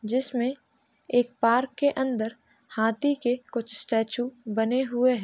जिसमे एक पार्क के अंदर हाथी के कुछ स्टेच्यू बने हुए हैं।